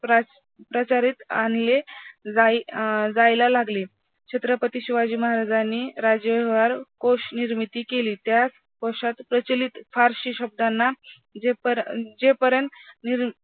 आणले जाई अं जायला लागले. छत्रपती शिवाजी महाराजांनी राजव्यवहारकोषनिर्मिती केली त्या कोशात प्रचलित फारश्या शब्दांना जेपर्यंत अं